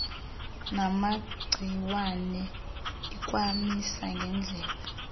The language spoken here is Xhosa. namagciwane ikwamisa ngedlela